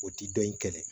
O ti dɔn in kɛlɛ